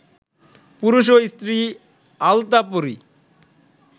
পুরুষ ও স্ত্রী আলতাপরি